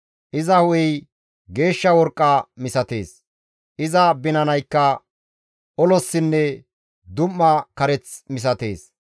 Iza hu7ey geeshsha worqqa misatees; iza binanaykka olossinne dum7a kareth misatees.